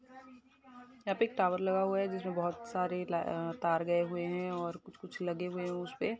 यहाँ पे एक टावर लगा हुआ है जिसमे बहोत सारे ला तार गए हुए है और कुछ कुछ लगे हुए है उसमे --